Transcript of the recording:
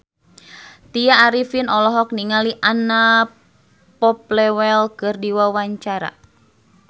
Tya Arifin olohok ningali Anna Popplewell keur diwawancara